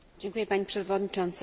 Pani Przewodnicząca!